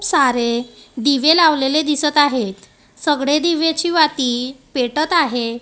सारे दिवे लावलेले दिसतं आहेत सगळे दिव्याची वाती पेटत आहे.